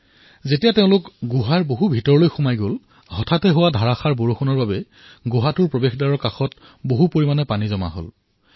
যেতিয়া তেওঁলোক গুহাৰ অধিক ভিতৰলৈ সোমাই গল আচম্বিতে হোৱা ভীষণ বৰষুণৰ ফলত গুহাৰ দ্বাৰৰ মুখত পানী জমা হৈ গল